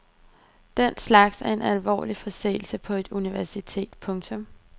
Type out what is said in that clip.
Den slags er en alvorlig forseelse på etuniversitet. punktum